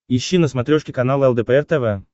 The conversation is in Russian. ищи на смотрешке канал лдпр тв